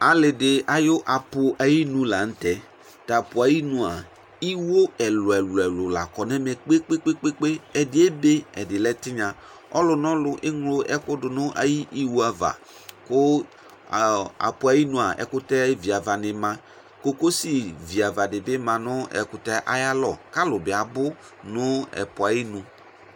ali di ayi aƒu ayi nu lantɛ t'aƒu ayi nu a iwo ɛlò ɛlò ɛlò la kɔ n'ɛmɛ kpe kpe kpe ɛdi ebe ɛdi lɛ tinya ɔlò n'ɔlò eŋlo ɛkò do n'ayi iwo ava kò aƒu ayinu a ɛkutɛ vi ava ni ma kokosi vi ava di bi ma no ɛkutɛ ayi alɔ k'alò bi abu no aƒu ayinu.